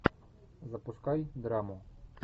запускай драму